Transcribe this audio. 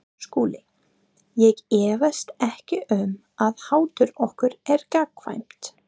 SKÚLI: Ég efast ekki um að hatur okkar er gagnkvæmt.